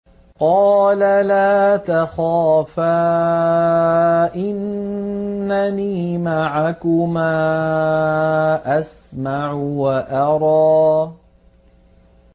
قَالَ لَا تَخَافَا ۖ إِنَّنِي مَعَكُمَا أَسْمَعُ وَأَرَىٰ